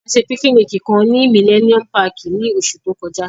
A ṣe pikiniki kan ni Millennium Pààki ni oṣu to kọja.